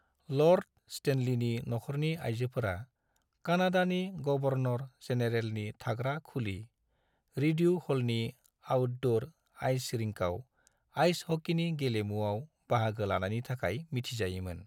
Lord स्टेनलीनि नखरनि आइजोफोरा कानाडानि गवर्नर-जेनेरेलनि थाग्रा खुलि, रिड्यू ह'लनि आउटडोर आइस रिंकआव आइस हकीनि गेलेमुआव बाहागो लानायनि थाखाय मिथिजायोमोन।